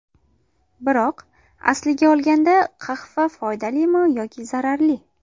Biroq, aslini olganda qahva foydalimi yoki zararli?